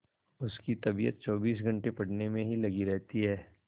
उसकी तबीयत चौबीस घंटे पढ़ने में ही लगी रहती है